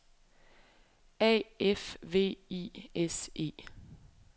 A F V I S E